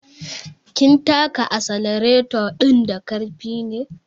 Kin taka asalareto ɗin da ƙarfi ne